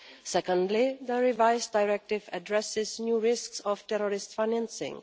Secondly, the revised Directive addresses new risks of terrorist financing.